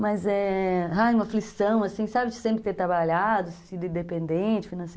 Mas é uma aflição, assim, sabe de sempre ter trabalhado, sido independente, finance